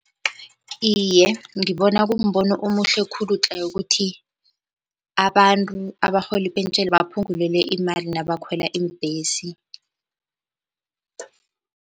Iye, ngibona kumbono omuhle khulu tle ukuthi abantu abarhola ipentjheni baphungulelwe imali nabakhwela iimbhesi.